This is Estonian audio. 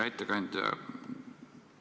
Hea ettekandja!